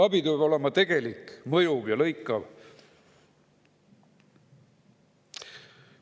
Nii et abi peab olema tegelik, mõjuv ja lõikav.